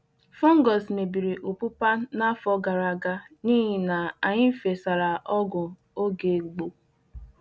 Fungus mebiri opupa n’afọ gara aga n’ihi na anyị fesa’ra ọgwụ oge gboo